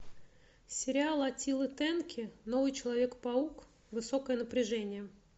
сериал аттилы тенки новый человек паук высокое напряжение